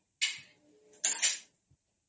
noise